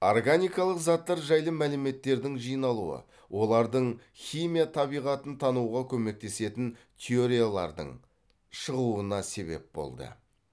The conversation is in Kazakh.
органикалық заттар жайлы мәліметтердің жиналуы олардың химия табиғатын тануға көмектесетін теориялардың шығуына себеп болды